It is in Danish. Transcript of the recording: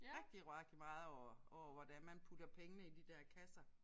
Rigtig rigtig meget over over hvordan man putter pengene i de der kasser